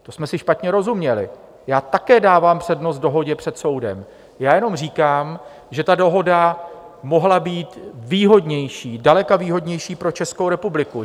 To jsme si špatně rozuměli, já také dávám přednost dohodě před soudem, já jenom říkám, že ta dohoda mohla být výhodnější, zdaleka výhodnější pro Českou republiku.